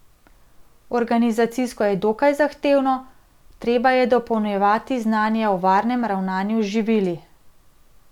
Organizacijsko je dokaj zahtevno, treba je dopolnjevati znanje o varnem ravnanju z živili.